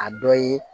A dɔ ye